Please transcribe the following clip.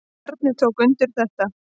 Bjarni tók undir þetta.